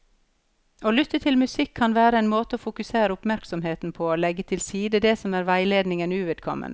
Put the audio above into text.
Å lytte til musikk kan være en måte å fokusere oppmerksomheten på og legge til side det som er veiledningen uvedkommende.